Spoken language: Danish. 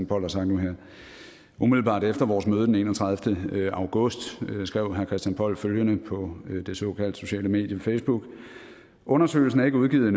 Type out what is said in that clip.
poll har sagt nu her umiddelbart efter vores møde den enogtredivete august skrev herre christian poll følgende på det såkaldt sociale medie facebook undersøgelsen er ikke udgivet